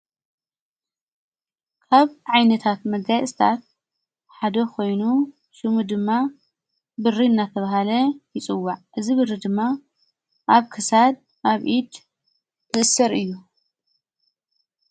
ካብ ዓይነታት መጋይ እስታት ሓደ ኾይኑ ሹሙ ድማ ብሪ እናተብሃለ ይጽዋዕ እዝ ብሪ ድማ ኣብ ከሳድ ኣብ ኢድ ዘእሥር እዩ::